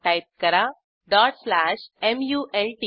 type करा dot slash malt